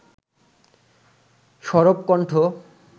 সরব কণ্ঠ